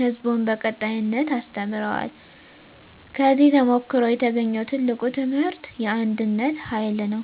ሕዝቡን በቀጣይነት አስተምረዋል። ከዚህ ተሞክሮ የተገኘው ትልቁ ትምህርት የአንድነት ኃይል ነው።